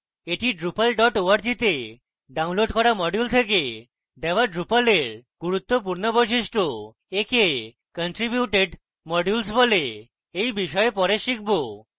এটি drupal org তে download করা module থেকে দেওয়া drupal এর গুরুত্বপূর্ণ বৈশিষ্ট্য একে contributed modules বলে এই বিষয়ে পরে শিখব